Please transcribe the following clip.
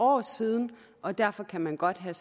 år siden og derfor kan man godt have